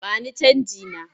Ba ni canjina!